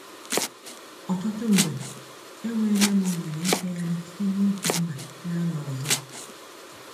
Ọtụtụ mgbe, enweela m ohere ịfegharị site n’otu mba gaa n’ọzọ.